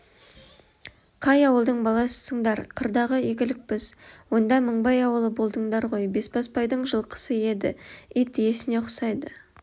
қай ауылдың баласысыңдар қырдағы игілікпіз онда мыңбай ауылы болдыңдар ғой бесбасбайдың жылқысы еді ит иесіне ұқсайды